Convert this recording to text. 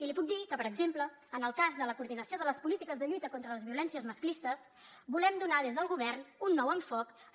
i li puc dir que per exemple en el cas de la coordinació de les polítiques de lluita contra les violències masclistes volem donar des del govern un nou enfocament